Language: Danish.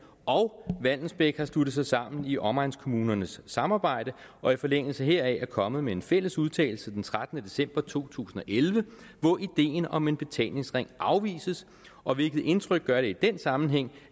og vallensbæk har sluttet sig sammen i omegnskommunernes samarbejde og i forlængelse heraf er kommet med en fælles udtalelse den trettende december to tusind og elleve hvor ideen om en betalingsring afvises og hvilket indtryk gør det i den sammenhæng